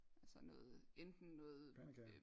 Altså noget enten noget